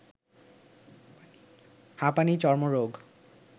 হাঁপানি, চর্মরোগ